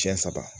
Siɲɛ saba